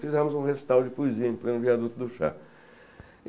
Fizemos um recital de poesia em pleno Viaduto do Chá.